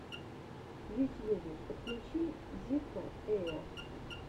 в ютьюбе подключи зирка эя